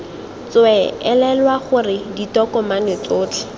tswee elelwa gore ditokomane tsotlhe